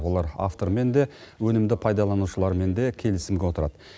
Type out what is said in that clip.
олар автормен де өнімді пайдаланушылармен де келісімге отырады